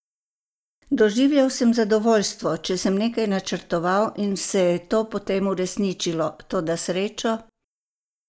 Doživljal sem zadovoljstvo, če sem nekaj načrtoval in se je to potem uresničilo, toda srečo?